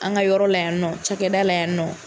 An ka yɔrɔ la yan nɔ cikɛda la yan nɔ.